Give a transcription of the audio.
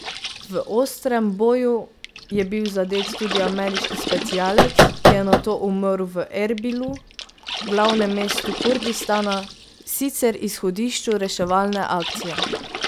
V ostrem boju je bil zadet tudi ameriški specialec, ki je nato umrl v Erbilu, glavnemu mestu Kurdistana, sicer izhodišču reševalne akcije.